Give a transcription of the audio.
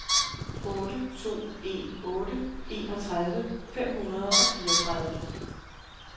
otte to en otte enogtredive fem hundrede og fireogtredive